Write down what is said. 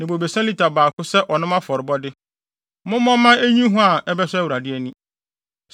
ne bobesa lita baako sɛ ɔnom afɔrebɔde. Mommɔ mma enyi hua a ɛbɛsɔ Awurade ani.